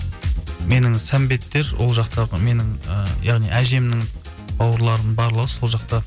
менің сәмбеттер ол жақтағы менің ыыы яғни әжемнің бауырларының барлығы сол жақта